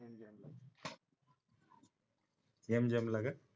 name जमला का